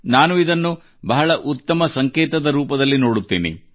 ನಾನು ಇದನ್ನು ಬಹಳ ಉತ್ತಮ ಸಂಕೇತದ ರೂಪದಲ್ಲಿ ನೋಡುತ್ತೇನೆ